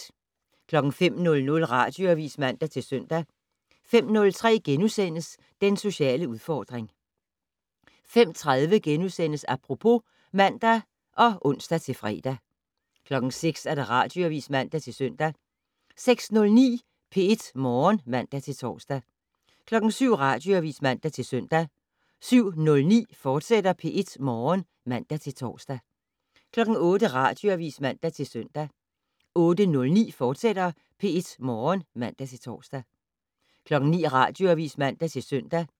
05:00: Radioavis (man-søn) 05:03: Den sociale udfordring * 05:30: Apropos *(man og ons-fre) 06:00: Radioavis (man-søn) 06:09: P1 Morgen (man-tor) 07:00: Radioavis (man-søn) 07:09: P1 Morgen, fortsat (man-tor) 08:00: Radioavis (man-søn) 08:09: P1 Morgen, fortsat (man-tor) 09:00: Radioavis (man-søn)